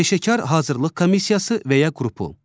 Peşəkar hazırlıq komissiyası və ya qrupu.